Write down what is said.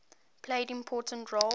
played important roles